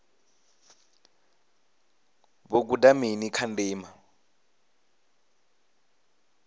vho guda mini kha ndima